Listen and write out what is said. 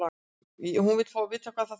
Hún vill vita hvað það þýðir.